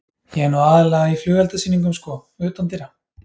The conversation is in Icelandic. Ég er nú aðallega í flugeldasýningum, sko, utandyra.